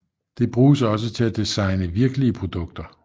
Det bruges også til at designe virkelige produkter